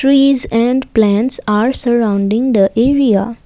Trees and plants are surrounding the area.